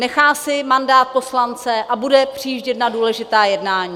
Nechá si mandát poslance a bude přijíždět na důležitá jednání.